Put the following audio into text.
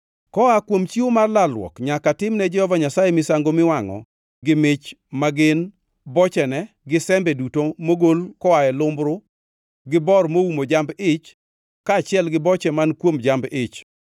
Koa kuom chiwo mar lalruok nyaka timne Jehova Nyasaye misango miwangʼo gi mach ma gin: bochene gi sembe duto mogol koa e lumbru gi bor moumo jamb-ich kaachiel gi boche man kuom jamb-ich,